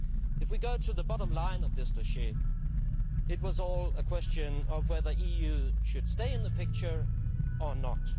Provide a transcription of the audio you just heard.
If we go to the bottom line of this dossier, it was all a question of whether the EU should stay in the picture or not.